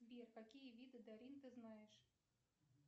сбер какие виды дарин ты знаешь